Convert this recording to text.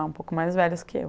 um pouco mais velhas que eu.